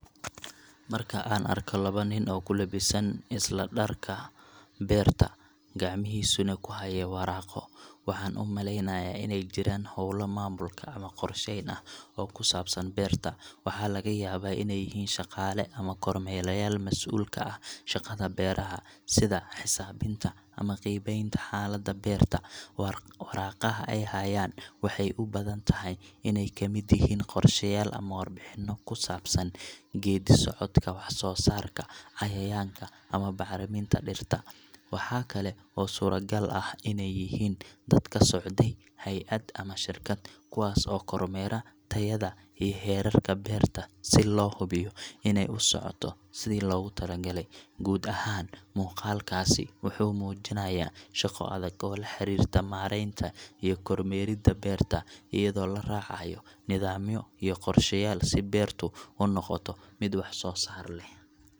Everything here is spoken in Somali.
Marka aan arko laba nin oo ku labisan isla dharka beerta, gacmihiisana ku haya waraaqo, waxaan u maleynayaa inay jiraan hawlo maamulka ama qorsheyn ah oo ku saabsan beerta. Waxaa laga yaabaa inay yihiin shaqaale ama kormeerayaal mas'uul ka ah shaqada beeraha, sida xisaabinta ama qiimeynta xaaladda beerta. Waraaqaha ay hayaan waxay u badan tahay inay ka mid yihiin qorshayaal ama warbixino ku saabsan geedi socodka wax-soo-saarka, cayayaanka, ama bacriminta dhirta. Waxa kale oo suuragal ah inay yihiin dad ka socday hay'ad ama shirkad, kuwaas oo kormeera tayada iyo heerarka beerta si loo hubiyo inay u socoto sidii loogu talagalay. Guud ahaan, muuqaalkaas wuxuu muujinayaa shaqo adag oo la xiriirta maaraynta iyo kormeeridda beerta, iyadoo la raacayo nidaamyo iyo qorshayaal si beertu u noqoto mid wax soo saar leh.